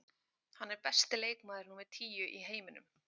Hann er besti leikmaður númer tíu í heiminum.